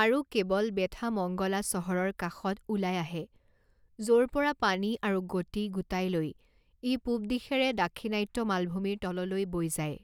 আৰু কেৱল বেথামংগলা চহৰৰ কাষত ওলাই আহে য'ৰ পৰা পানী আৰু গতি গোটাই লৈ ই পূব দিশেৰে দাক্ষিণাত্য মালভূমিৰ তললৈ বৈ যায়।